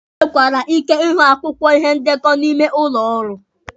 E nwekwara ike ịhụ akwụkwọ ihe ndekọ n'ime ụlọ ọrụ.